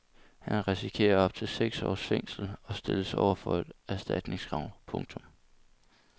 Han risikerer op til seks års fængsel og stilles over for et erstatningskrav. punktum